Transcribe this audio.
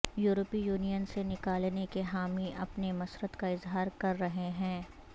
یورپی یونین سے نکلنے کے حامی اپنی مسرت کا اظہار کر رہے ہیں